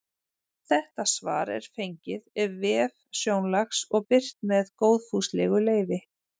Þetta svar er fengið ef vef Sjónlags og birt með góðfúslegu leyfi.